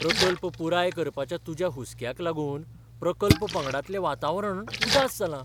प्रकल्प पुराय करपाच्या तुज्या हुसक्याक लागून प्रकल्प पंगडातलें वातावरण उदास जालां.